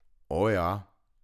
O, ja.